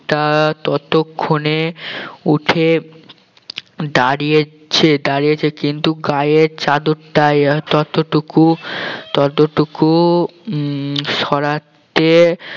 টা ততক্ষনে উঠে দাঁড়িয়েছে দাঁড়িয়েছে কিন্তু গায়ের চাদরটা ততটুকু ততটুকু উম সরাতে